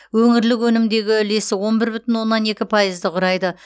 өңірлік өнімдегі үлесі он бір бүтін оннан екі пайызды құрайды